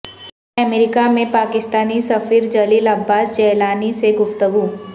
امریکہ میں پاکستانی سفیر جلیل عباس جیلانی سے گفتگو